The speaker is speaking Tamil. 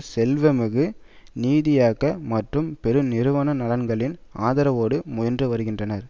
செல்வாமிகு நிதியாக்க மற்றும் பெருநிறுவன நலன்களின் ஆதரவோடு முயன்று வருகின்றார்